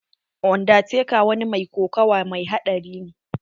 Undertaker wa ni mai kokawa mai haɗari ne.